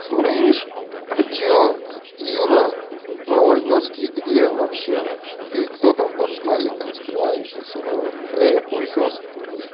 слышишь а что юра вологодский где вообще ты кто там под смайликом скрывающийся хуесос